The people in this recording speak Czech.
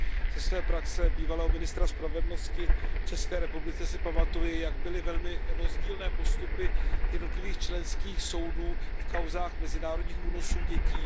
Ze své praxe bývalého ministra spravedlnosti v České republice si pamatuji, jak byly velmi rozdílné postupy jednotlivých členských soudů v kauzách mezinárodních únosů dětí.